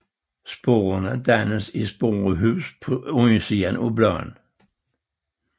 Sporerne dannes i sporehuse på undersiden af bladene